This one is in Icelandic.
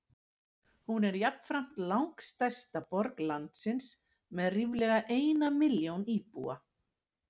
Hún er jafnframt langstærsta borg landsins með ríflega eina milljón íbúa.